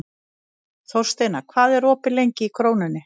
Þórsteina, hvað er opið lengi í Krónunni?